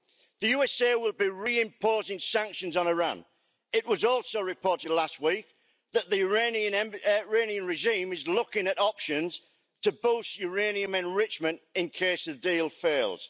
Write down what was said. The USA will be re imposing sanctions on Iran. It was also reported last week that the Iranian regime is looking at options to boost uranium enrichment in case the deal fails.